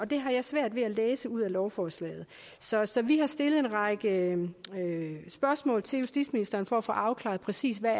det har jeg svært ved at læse ud af lovforslaget så så vi har stillet en række spørgsmål til justitsministeren for at få afklaret præcis hvad